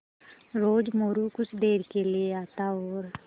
रोज़ मोरू कुछ देर के लिये आता और